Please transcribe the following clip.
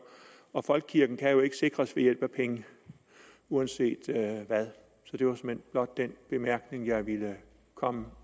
og folkekirken kan jo ikke sikres ved hjælp af penge uanset hvad så det var såmænd blot den bemærkning jeg ville komme